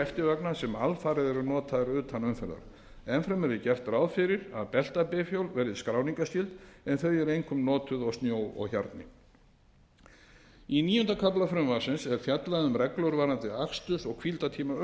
eftirvagna sem alfarið eru notaðir utan umferðar enn fremur er gert ráð fyrir að beltabifhjól verði skráningarskyld en þau eru einkum notuð á snjó og hjarni í níunda kafla frumvarpsins er fjallað um reglur um aksturs og hvíldartíma ökumanna